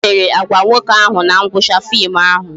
Gịnị mere Agwa nwoke ahụ na ngwụcha fim ahụ?